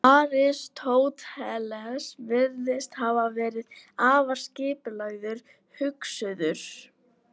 Aristóteles virðist hafa verið afar skipulagður hugsuður.